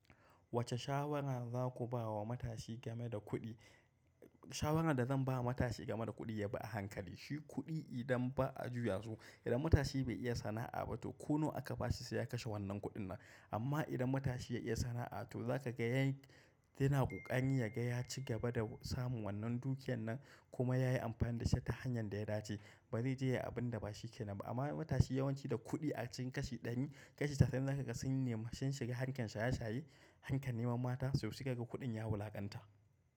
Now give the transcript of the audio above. Wace shawara za ku ba wa matashi game da kuɗi? Shawaran da zan ba wa matashi game da kuɗi ya bi a hankali. Shi kuɗi idan ba a juya su, idan matashi bai iya sana'a ba to ko nawa aka ba shi sai ya kashe wannan kuɗin nan. Amma idan matashi ya iya sanna'a to zaka ga ya yana kokarin ya ga ya cigaba da samun wannan dukiyar nan kuma yayi amfani da shi ta hanyan da ya dace. Bare ji yayi abin da ba shi ke nan ba. Amma matashi yawanci da kuɗi a cikin kashi ɗari, kashi casa'in za ka ga sun nemi shin shiga harkar shaye-shaye, harkar neman mata so sai. Ka ga kuɗin ya wulaƙanta.